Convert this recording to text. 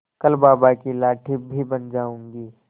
कल बाबा की लाठी भी बन जाऊंगी